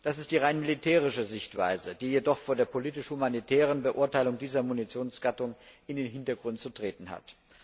Das ist die rein militärische Sichtweise, die jedoch vor der politisch humanitären Beurteilung dieser Munitionsgattung in den Hintergrund zu treten hat.